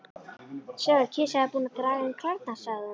Sjáðu, kisa er búin að draga inn klærnar, sagði hún.